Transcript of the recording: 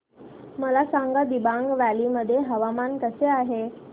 मला सांगा दिबांग व्हॅली मध्ये हवामान कसे आहे